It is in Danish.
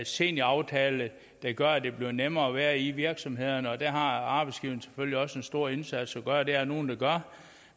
senioraftale der gør at det bliver nemmere at være i virksomhederne der har arbejdsgiverne selvfølgelig også en stor indsats at gøre det er der nogle der gør